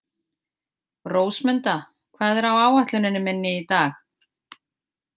Rósmunda, hvað er á áætluninni minni í dag?